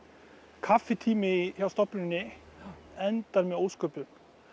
kaffitími hjá stofnuninni endar með ósköpum